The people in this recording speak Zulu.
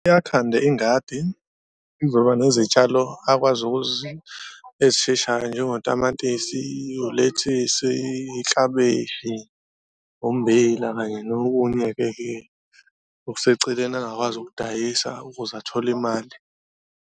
Yakhanda ingadi izoba nezitshalo akwazi ezisheshayo njengotamatisi, ulethisi, iklabishi, ummbila kanye nokunye-keke okuseceleni angakwazi ukudayisa ukuze athole imali.